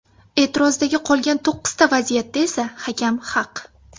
E’tirozdagi qolgan to‘qqizta vaziyatda esa hakam haq.